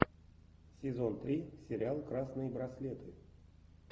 сезон три сериал красные браслеты